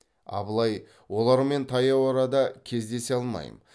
абылай олармен таяу арада кездесе алмаймын